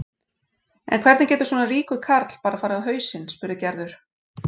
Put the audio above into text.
En hvernig getur svona ríkur karl bara farið á hausinn? spurði Gerður.